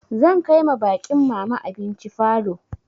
Zan kai ma baƙin mama abinci falo.